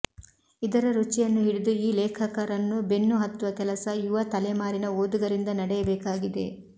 ಇದರ ರುಚಿಯನ್ನು ಹಿಡಿದು ಈ ಲೇಖಕರನ್ನು ಬೆನ್ನು ಹತ್ತುವ ಕೆಲಸ ಯುವ ತಲೆಮಾರಿನ ಓದುಗರಿಂದ ನಡೆಯಬೇಕಾಗಿದೆ